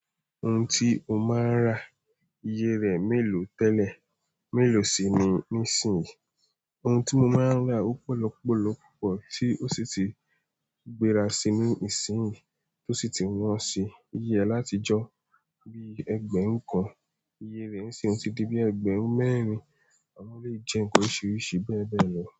Ohun tí ó máa ń rà iye rẹ̀ mélòó tẹ́lẹ̀ mélòó sì ni nísìn? Ohun tí mo máa ń rà ó pọ̀lọpọ̀lọpọ̀ tí ó sì ti gbéra sí i nísìnyí tí ó sì ti wọ́n sí iye látijọ́ bí ẹgbẹ̀rún kan, iye rẹ̀ nísìnyí ti di bí ẹgbẹ̀rún mẹ́rin àwọn le jẹ ohun oríṣiríṣi bẹ́ẹ̀ bẹ́ẹ̀ lọ.